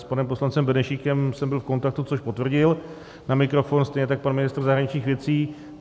S panem poslancem Benešíkem jsem byl v kontaktu, což potvrdil na mikrofon, stejně tak pan ministr zahraničních věcí.